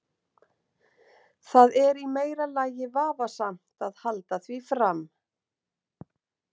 Það er í meira lagi vafasamt að halda því fram.